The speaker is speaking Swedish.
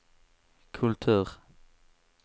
kultur